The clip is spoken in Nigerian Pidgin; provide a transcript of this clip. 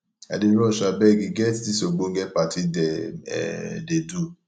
i dey rush abeg e get dis ogbonge party dem um dey do